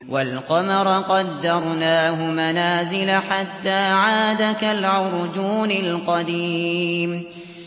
وَالْقَمَرَ قَدَّرْنَاهُ مَنَازِلَ حَتَّىٰ عَادَ كَالْعُرْجُونِ الْقَدِيمِ